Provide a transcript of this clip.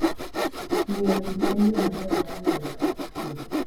Ng'iyo thim en yo maber mar ng'eyo chal mar thim.